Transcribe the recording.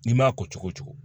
N'i m'a ko cogo o cogo